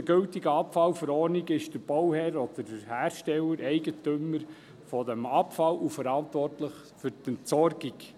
Laut der gültigen Abfallverordnung (AbfV) ist der Bauherr oder der Hersteller Eigentümer des Abfalls und verantwortlich für die Entsorgung.